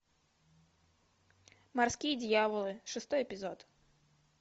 морские дьяволы шестой эпизод